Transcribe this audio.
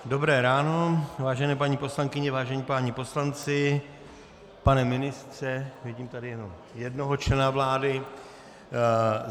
Dobré ráno, vážené paní poslankyně, vážení páni poslanci, pane ministře - vidím tady jenom jednoho člena vlády.